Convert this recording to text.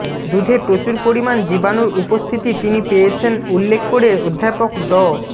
দুধে প্রচুর পরিমাণ জীবাণুর উপস্থিতি তিনি পেয়েছেন উল্লেখ করে অধ্যাপক ড